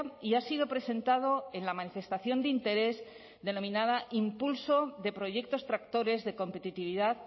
y ha sido presentado en la manifestación de interés denominada impulso de proyectos tractores de competitividad